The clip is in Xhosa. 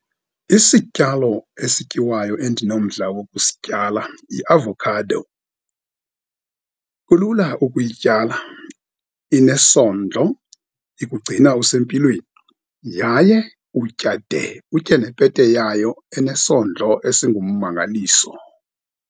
Isityalo esityiwayo endinomdla wokusityala yiavokhado, kulula ukuyityala, inesondlo, ikugcina usempilweni, yaye utya de utye nepete yayo enesondlo esingummangaliso.